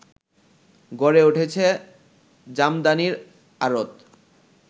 গড়ে উঠেছে জামদানির আড়ত